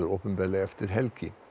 opinberlega eftir helgi